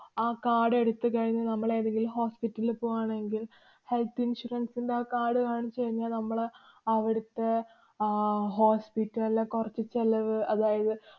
ആ card എടുത്തു കഴിഞ്ഞു നമ്മള് ഏതെങ്കിലും hospital ലില് പോവാണെങ്കില്‍ health insurance ന്‍റെ ആ card കാണിച്ചു കഴിഞ്ഞാല്‍ നമ്മള് അവിടത്തെ അഹ് hospital ലെ കൊറച്ചു ചെലവ്, അതായത്